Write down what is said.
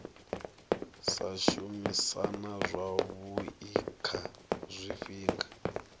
sa shumisana zwavhui kha zwifhinga